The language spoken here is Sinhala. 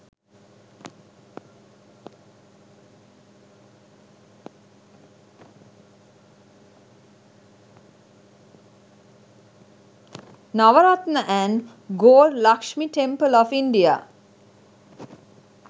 navaratna and gold luxmi temple of india